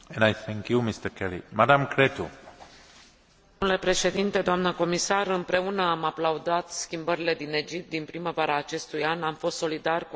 Împreună am aplaudat schimbările din Egipt din primăvara acestui an, am fost solidari cu aceia care, în centrul capitalei egiptene, au luptat pentru democrație și libertate.